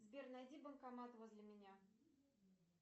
сбер найди банкомат возле меня